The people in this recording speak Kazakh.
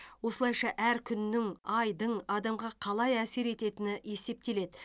осылайша әр күннің айдың адамға қалай әсер ететіні есептеледі